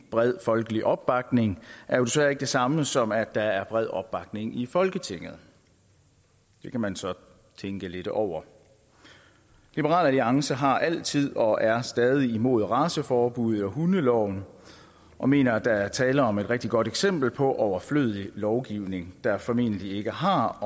bred folkelig opbakning er jo desværre ikke det samme som at der er bred opbakning i folketinget det kan man så tænke lidt over liberal alliance har altid og er stadig imod raceforbuddet i hundeloven og mener at der er tale om et rigtig godt eksempel på overflødig lovgivning der formentlig ikke har